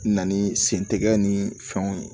Na ni sen tɛgɛ ni fɛnw ye